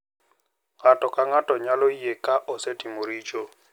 Ng’ato ka ng’ato nyalo yie ka osetimo richo,